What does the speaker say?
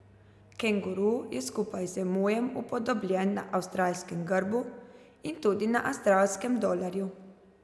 Kenguru je skupaj z emujem upodobljen na Avstralskem grbu in tudi na avstralskem dolarju.